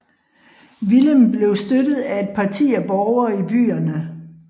Willem blev støttet af et parti af borgere i byerne